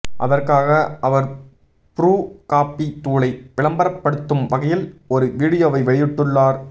அதற்காக அவர் ப்ரூ காபி தூளை விளம்பரப்படுத்தும் வகையில் ஒரு வீடியோவை வெளியிட்டுள்ளார்